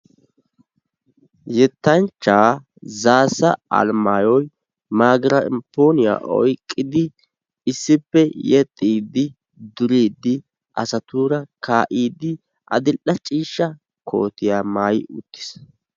Yettanchchaa Zaassa Alemaayoy maygiraappooniya oyqqidi issippe yexxiiddi, duriiddi asatuura kaa'iiddi addil"ee ciishsha kootiya maayi uttiis.